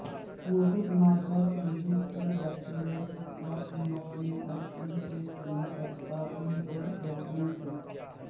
مفید مادہ تیزی سے بیکٹیریا کے ساتھ نمٹنے اور ان کے پنروتپادن کو روکنے کے